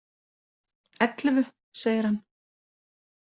Ellefu, segir hann.